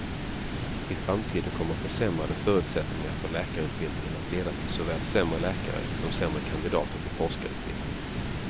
I framtiden kommer försämrade förutsättningar för läkarutbildningen att leda till såväl sämre läkare, som sämre kandidater till forskarutbildning.